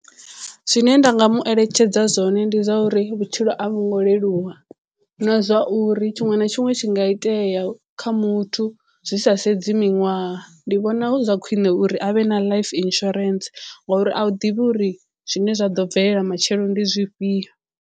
Zwine nda nga mu eletshedza zwone ndi zwa uri vhutshilo a vhu ngo leluwa na zwa uri tshiṅwe na tshiṅwe tshi nga itea kha muthu zwi sa sedzi miṅwaha ndi vhona hu zwa khwiṋe uri a vhe na life insurance ngori a u ḓivhi uri zwine zwa ḓo bvelela matshelo ndi zwifhio.